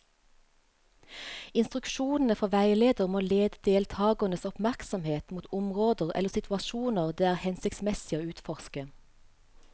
Instruksjonene fra veileder må lede deltakernes oppmerksomhet mot områder eller situasjoner det er hensiktsmessig å utforske.